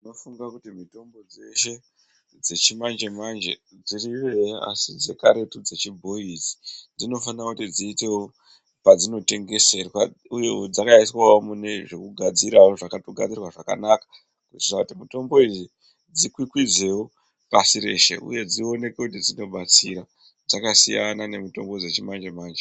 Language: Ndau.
Ndofunga kuti mutombo dzeshe dzechimanje manje dziriyo eya asi dzekaretu dzechibhoyi idzi dzinofanonge dziitewo padzinotengeserwa uyewo dzakaiswawo mune zvekugafzirawo zvakatogadzirwa zvakanaka kuitira kuti mutombo idzi dzikwikwidzewo pashi reshe uye dzionekwe kuti dzinobatsira dzakasiyana nemitombo dzechimanje manje.